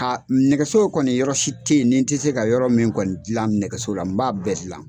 Ha nɛgɛso kɔni yɔrɔ si tɛ ye nin tɛ se ka yɔrɔ min kɔni dilan nɛgɛso ra n b'a bɛɛ dillan.